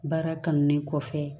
Baara kanu le kɔfɛ